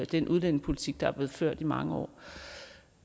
den udlændingepolitik der er blevet ført i mange år